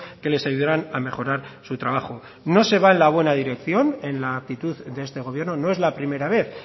que les ayudarán a mejorar su trabajo no se va en la buena dirección en la actitud de este gobierno no es la primera vez